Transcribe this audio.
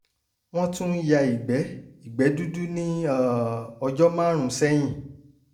wọ́n tún ń ya ìgbẹ́ ìgbẹ́ dúdú ní um ọjọ́ márùn-ún sẹ́yìn